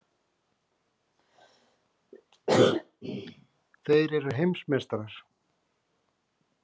Þeir eru heimsmeistarar!!!